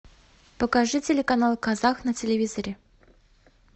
покажи телеканал казах на телевизоре